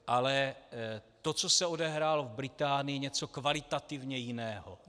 Ale to, co se odehrálo v Británii, je něco kvalitativně jiného.